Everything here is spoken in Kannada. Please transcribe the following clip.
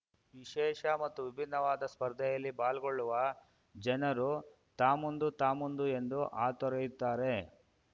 ವಿಶೇಷ ಮತ್ತು ವಿಭಿನ್ನವಾದ ಸ್ಪರ್ಧೆಯಲ್ಲಿ ಪಾಲ್ಗೊಳ್ಳುವ ಜನರು ತಾಮುಂದು ತಾಮುಂದು ಎಂದು ಹಾತೊರೆಯುತ್ತಾರೆ